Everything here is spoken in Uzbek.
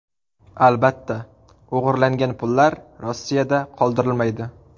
Albatta, o‘g‘irlangan pullar Rossiyada qoldirilmaydi.